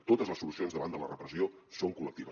totes les solucions davant de la repressió són col·lectives